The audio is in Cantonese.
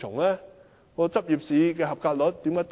為甚麼執業試的合格率會這麼低？